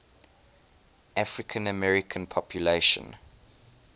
african american population